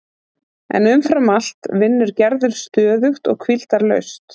En umfram allt vinnur Gerður stöðugt og hvíldarlaust.